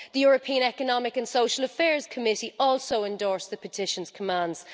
The European Economic and Social Committee also endorsed the petition's commands.